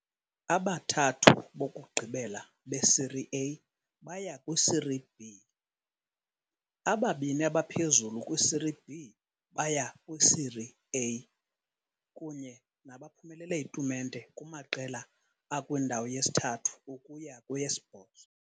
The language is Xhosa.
Abathathu bokugqibela beSerie A baya kwiSerie B. Ababini abaphezulu kwiSerie B baya kwiSerie A, kunye nabaphumelele itumente kumaqela akwindawo yesithathu ukuya kweyesibhozo.